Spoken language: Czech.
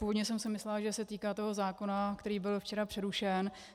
Původně jsem si myslela, že se týká toho zákona, který byl včera přerušen.